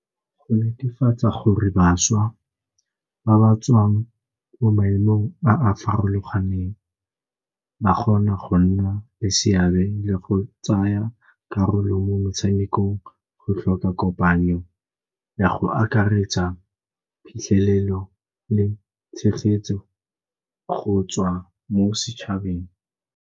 Go netefatsa gore bašwa ba ba tswang mo maemong a a farologaneng ba kgona go nna le seabe le go tsaya karolo mo metshamekong go tlhoka kopano go ya go akaretsa phitlhelelo le tshegetso go tswa mo setšhabeng.